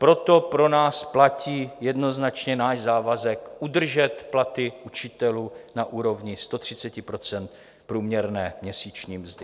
Proto pro nás platí jednoznačně náš závazek udržet platy učitelů na úrovni 130 % průměrné měsíční mzdy.